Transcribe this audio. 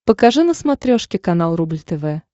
покажи на смотрешке канал рубль тв